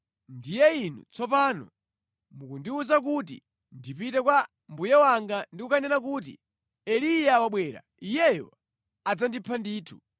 Ndiye inu tsopano mukundiwuza kuti ndipite kwa mbuye wanga ndi kukanena kuti, ‘Eliya wabwera.’ Iyeyo adzandipha ndithu!”